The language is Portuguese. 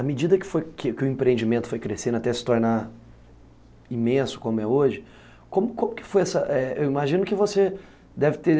À medida que foi que o empreendimento foi crescendo, até se tornar imenso como é hoje, como como que foi essa... eu imagino que você deve ter...